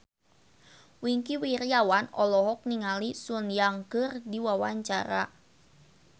Wingky Wiryawan olohok ningali Sun Yang keur diwawancara